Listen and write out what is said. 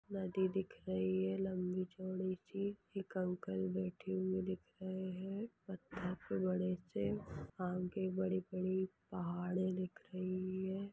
नदी दिख रही है लंबी चौड़ी सी एक अंकल बैठे हुए दिख रहे हैं पत्थर पर बड़े से आगे बड़ी बड़ी पहाड़े दिख रही है।